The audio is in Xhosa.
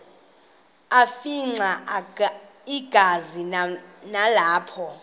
afimxa igazi nalapho